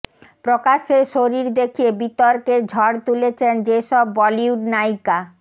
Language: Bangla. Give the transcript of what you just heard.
প্রকাশ্যে শরীর দেখিয়ে বিতর্কের ঝড় তুলেছেন যেসব বলিউড নায়িকা